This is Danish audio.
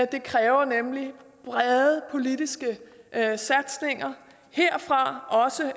det kræver nemlig brede politiske satsninger herfra også